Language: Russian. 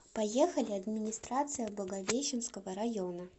поехали администрация благовещенского района